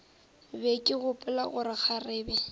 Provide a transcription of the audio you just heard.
be ke gopola gore kgarebe